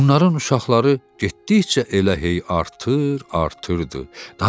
Onların uşaqları getdikcə elə hey artır, artırdı.